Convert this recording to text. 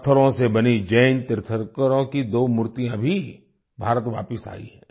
पत्थरों से बनी जैन तीर्थंकरों की दो मूर्तियाँ भी भारत वापस आई हैं